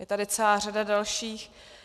Je tady celá řada dalších.